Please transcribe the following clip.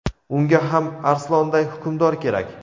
Unga ham arslonday hukmdor kerak!.